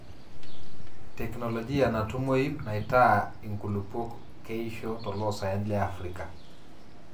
teknologia natumoyu naitaa inkulupuok keisho toloosaen le Afrka.